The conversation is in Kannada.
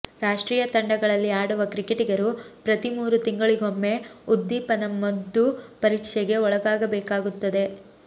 ರಾಷ್ಟ್ರೀಯ ತಂಡಗಳಲ್ಲಿ ಆಡುವ ಕ್ರಿಕೆಟಿಗರು ಪ್ರತಿ ಮೂರು ತಿಂಗಳಿಗೊಮ್ಮೆ ಉದ್ದೀಪನ ಮದ್ದು ಪರೀಕ್ಷೆಗೆ ಒಳಗಾಗಬೇಕಾಗುತ್ತದೆ